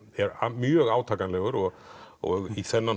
mjög átakanlegur og og í þennan